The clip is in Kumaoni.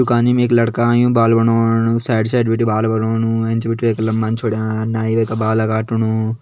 दुकानि में एक लड़का आयुं बाल बनोंण-ण-ण साइड - साइड बिटि बाल बणणु एंच बिटि येका लम्बा छोड़्यां नाई वै का बाल काटणु।